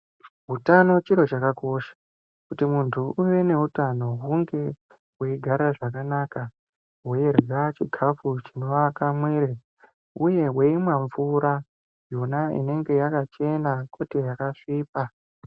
Utano chiro chakakosha. Kuti muntu uve neutano hunge weigara zvakanaka, weirya chikafu chinowaka mwiri uye weimwa mvura yona inenge yakachena kwete yakasvipa.